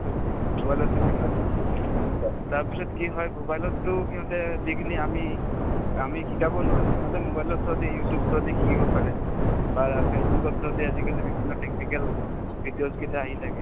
তো mobile তে থাকে অ to তাৰপিছত কি হয় mobile তো সিহঁতে যিখিনি আমি আমি শিকাব নোৱাৰো সিহঁতে mobile ৰ through দি you tube through দি শিকিব পাৰে বা face book ৰ through দি আজিকালি বিভিন্ন technical videos কেইটা আহি থাকে